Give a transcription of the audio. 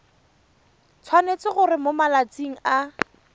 tshwanetse gore mo malatsing a